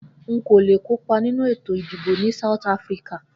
Nkò le kópa nínú ètò ìdìbò ni South Afrika